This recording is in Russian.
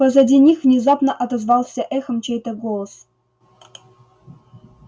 позади них внезапно отозвался эхом чей-то голос